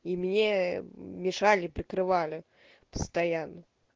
и мне мешали прикрывали постоянно